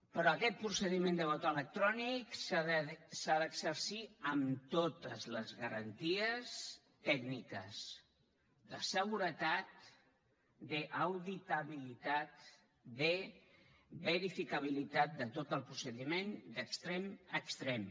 però aquest procediment de vot electrònic s’ha d’exercir amb totes les garanties tècniques de seguretat d’auditabilitat de verificabilitat de tot el procediment d’extrem a extrem